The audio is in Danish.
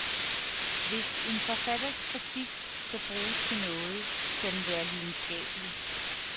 Hvis en forfatters kritik skal bruges til noget, skal den være lidenskabelig.